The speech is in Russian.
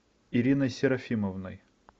ириной серафимовной